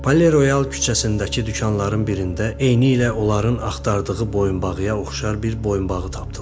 Pale Royal küçəsindəki dükanların birində eynilə onların axtardığı boyunbağıya oxşar bir boyunbağı tapdılar.